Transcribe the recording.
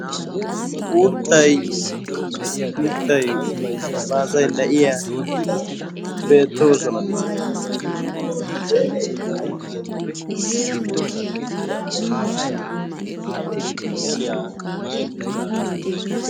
uuttay mittay miizay na'iya bettosona.